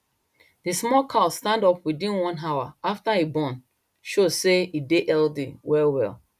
the small cow stand up within one hour after e born show say e dey healthy well well